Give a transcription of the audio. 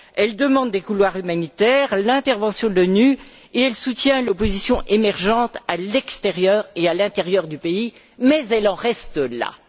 elle demande des couloirs humanitaires, l'intervention de l'ONU et elle soutient l'opposition émergente à l'extérieur et à l'intérieur du pays, mais elle en reste là.